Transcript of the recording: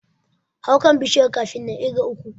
Hau kan Bishiyar kafin na ƙirga uku.